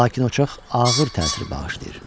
Lakin o çox ağır təsir bağışlayır.